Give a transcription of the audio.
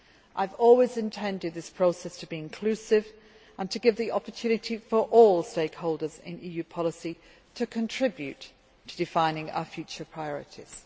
I have always intended this process to be inclusive and to give the opportunity for all stakeholders in EU policy to contribute to defining our future priorities.